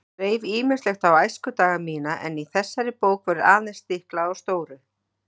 Það dreif ýmislegt á æskudaga mína en í þessari bók verður aðeins stiklað á stóru.